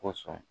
Kosɔn